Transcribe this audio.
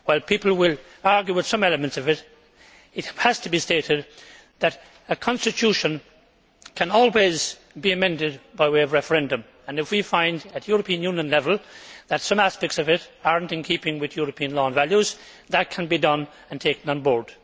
While people will argue with some elements of it, it has to be stated that a constitution can always be amended by way of referendum and, if we find at European Union level that some aspects of it are not in keeping with European law and values, that can be done and taken on board.